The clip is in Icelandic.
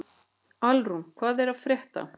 Alrún, hvað er að frétta?